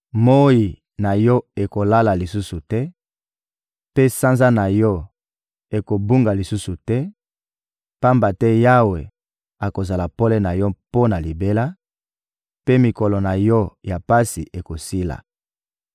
Moyi na yo ekolala lisusu te, mpe sanza na yo ekobunga lisusu te; pamba te Yawe akozala pole na yo mpo na libela, mpe mikolo na yo ya pasi ekosila.